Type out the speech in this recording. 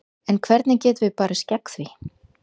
En hvernig getum við barist gegn því?